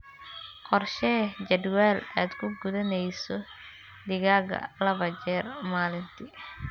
Qorshee jadwal aad ku quudinayso digaagga laba jeer maalintii.